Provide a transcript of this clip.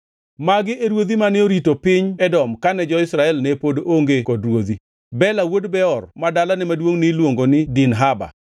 Magi e ruodhi mane orito piny Edom kane jo-Israel ne pod onge kod ruodhi: Bela wuod Beor ma dalane maduongʼ niluongo ni Dinhaba.